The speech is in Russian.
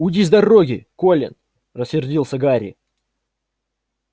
уйди с дороги колин рассердился гарри